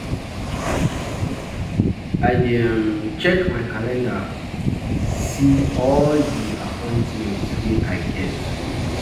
I um dey check my calendar, see all um di appointment wey um I get.